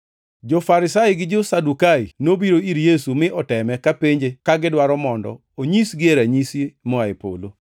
Jo-Farisai gi jo-Sadukai nobiro ir Yesu mi oteme kapenje ka gidwaro mondo onyisgie ranyisi moa e polo.